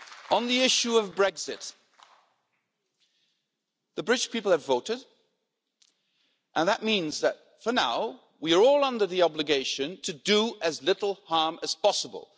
On the issue of Brexit, the British people have voted, and that means that for now, we are all under the obligation to do as little harm as possible.